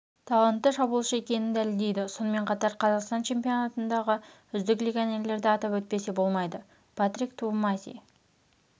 талантты шабуылшы екенін дәлелдейді сонымен қатар қазақстан чемпионатындағы үздік легионерлерді атап өтпесе болмайды патрик твумаси